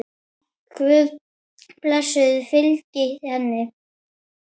Guðs blessun fylgi henni.